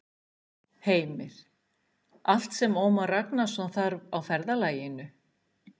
Heimir: Allt sem Ómar Ragnarsson þarf á ferðalaginu?